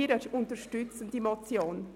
Wir unterstützen die Motion.